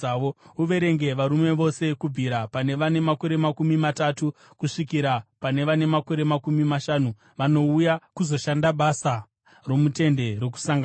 Uverenge varume vose kubvira pane vane makore makumi matatu kusvikira pane vane makore makumi mashanu vanouya kuzoshanda basa romuTende Rokusangana.